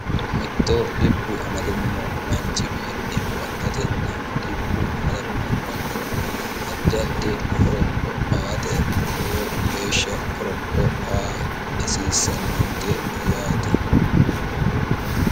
mittoo dibbu amadamino manchiwiinni baxxatenna dibbu amadamino mannira addi addi koro o aate luwo geeshsha koroko a hasiissannonke yaate